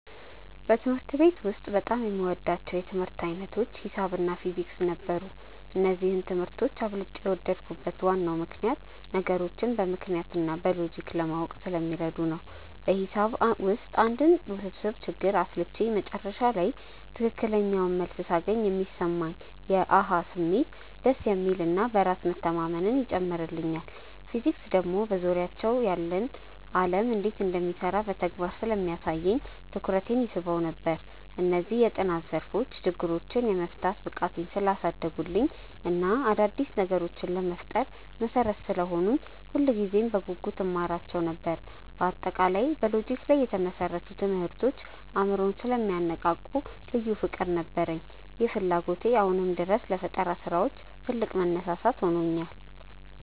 በትምህርት ቤት ውስጥ በጣም የምወዳቸው የትምህርት ዓይነቶች ሒሳብ እና ፊዚክስ ነበሩ። እነዚህን ትምህርቶች አብልጬ የወደድኩበት ዋናው ምክንያት ነገሮችን በምክንያት እና በሎጂክ ለማወቅ ስለሚረዱ ነው። በሒሳብ ውስጥ አንድን ውስብስብ ችግር አስልቼ መጨረሻ ላይ ትክክለኛውን መልስ ሳገኝ የሚሰማኝ የ "አሃ" ስሜት በጣም ደስ የሚል እና በራስ መተማመንን ይጨምርልኛል። ፊዚክስ ደግሞ በዙሪያችን ያለው ዓለም እንዴት እንደሚሰራ በተግባር ስለሚያሳየኝ ትኩረቴን ይስበው ነበር። እነዚህ የጥናት ዘርፎች ችግሮችን የመፍታት ብቃቴን ስላሳደጉልኝ እና አዳዲስ ነገሮችን ለመፍጠር መሠረት ስለሆኑኝ ሁልጊዜም በጉጉት እማራቸው ነበር። በአጠቃላይ በሎጂክ ላይ የተመሰረቱ ትምህርቶች አእምሮን ስለሚያነቃቁ ልዩ ፍቅር ነበረኝ። ይህ ፍላጎቴ አሁንም ድረስ ለፈጠራ ስራዎች ትልቅ መነሳሳት ሆኖኛል።